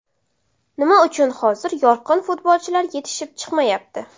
Nima uchun hozir yorqin futbolchilar yetishib chiqmayapti?